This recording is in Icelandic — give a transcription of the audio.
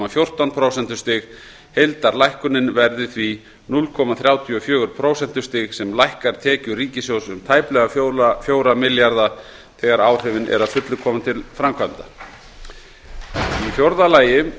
fjórtán prósentustig heildarlækkunin verði því núll komma þrjátíu og fjögur prósentustig sem lækkar tekjur ríkissjóðs um tæplega fjögur milljarða þegar áhrifin eru að fullu komin til framkvæmda fjórða